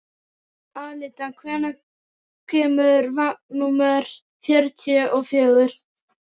Alida, hvenær kemur vagn númer fjörutíu og fjögur?